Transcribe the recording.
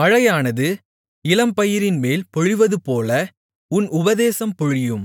மழையானது இளம்பயிரின்மேல் பொழிவதுபோல என் உபதேசம் பொழியும்